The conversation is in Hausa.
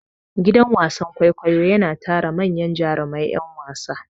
Gidan wasan kwaikwayo yana tara manyan jurumai ƴan wasa.